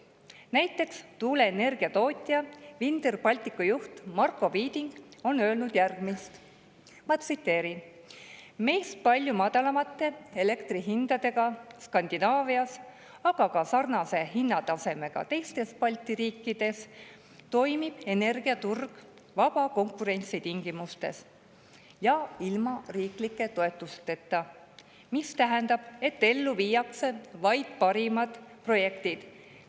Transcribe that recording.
Näiteks on tuuleenergia tootja Vindr Baltic juht Marko Viiding öelnud järgmist, tsiteerin: "Meist palju madalamate elektrihindadega Skandinaavias, aga ka sarnase hinnatasemega teistes Balti riikides toimib energiaturg vaba konkurentsi tingimustes ja ilma riiklike toetusteta, mis tähendab, et ellu viiakse vaid parimad projektid.